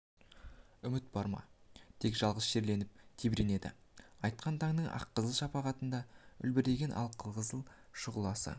үміт бар ма тек жалғыз шерленіп тебіренеді атқан таңның аққызыл шапағындай үлбіреген алқызыл шұғыласы